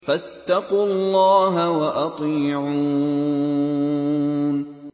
فَاتَّقُوا اللَّهَ وَأَطِيعُونِ